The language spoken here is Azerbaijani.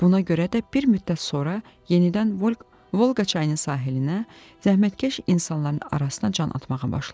Buna görə də bir müddət sonra yenidən Volqa çayının sahilinə zəhmətkeş insanların arasına can atmağa başladım.